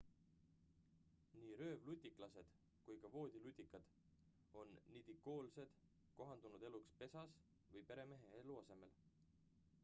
nii röövlutiklased kui ka voodilutikad on nidikoolsed kohandunud eluks pesas või peremehe eluasemel